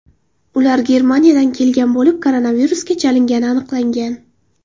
Ular Germaniyadan kelgan bo‘lib, koronavirusga chalingani aniqlangan.